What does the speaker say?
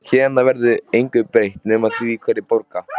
Héðan af verður engu breytt nema því hverjir borga.